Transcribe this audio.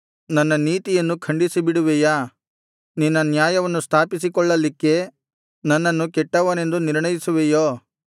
ನನ್ನ ನೀತಿಯನ್ನು ಖಂಡಿಸಿಬಿಡುವಿಯಾ ನಿನ್ನ ನ್ಯಾಯವನ್ನು ಸ್ಥಾಪಿಸಿಕೊಳ್ಳಲಿಕ್ಕೆ ನನ್ನನ್ನು ಕೆಟ್ಟವನೆಂದು ನಿರ್ಣಯಿಸುವೆಯೋ